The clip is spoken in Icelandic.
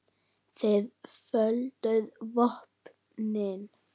Þið földuð vopnin.